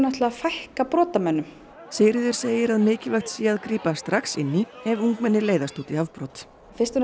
fækka brotamönnum Sigríður segir að mikilvægt sé að grípa strax inn í ef ungmenni leiðast út í afbrot fyrst og